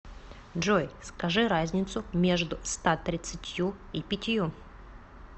джой скажи разницу между ста тридцатью и пятью